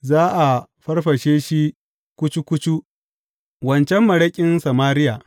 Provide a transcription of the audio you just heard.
Za a farfashe shi kucu kucu, waccan maraƙin Samariya.